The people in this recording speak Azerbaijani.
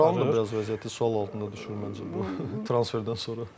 Turalın da biraz vəziyyəti sual altında düşür məncə bu transferdən sonra.